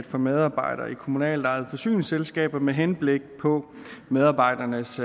for medarbejdere i kommunalt ejede forsyningsselskaber med henblik på medarbejdernes